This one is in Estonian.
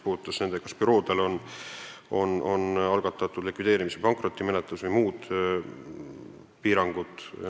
Uuriti ka seda, kas büroode suhtes on algatatud likvideerimis- või pankrotimenetlus või on muud piirangud.